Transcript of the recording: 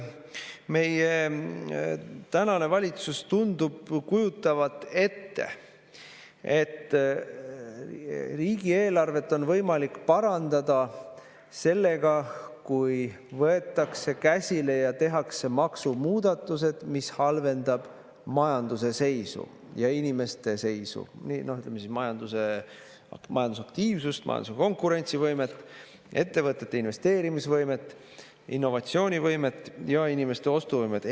Meie tänane valitsus tundub kujutavat ette, et riigieelarvet on võimalik parandada sellega, kui võetakse ja tehakse maksumuudatused, mis halvendavad majanduse seisu ja inimeste, ütleme siis, majandusaktiivsust, majanduse konkurentsivõimet, ettevõtete investeerimisvõimet ja innovatsioonivõimet ning inimeste ostuvõimet.